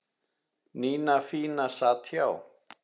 Nína fína sat hjá